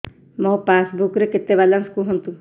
ମୋ ପାସବୁକ୍ ରେ କେତେ ବାଲାନ୍ସ କୁହନ୍ତୁ